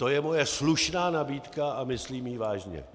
To je moje slušná nabídka a myslím ji vážně.